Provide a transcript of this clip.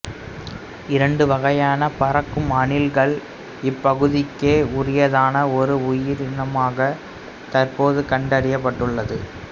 இரண்டு வகையான பறக்கும் அணில்கள் இப்பகுதிக்கே உரித்தான ஒரு உயிரினமாக தற்போது கண்டறியப்பட்டுள்ளது